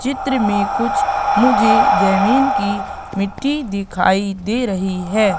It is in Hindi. चित्र में कुछ मुझे जमीन की मिट्टी दिखाई दे रही है।